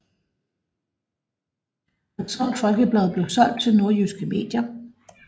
Hadsund Folkeblad blev solgt til Nordjyske Medier